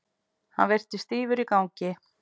Hann virtist stífur í gangi.